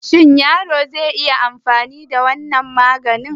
Yaro zai iya anfani da wannan maganin?